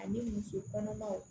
Ani muso kɔnɔmaw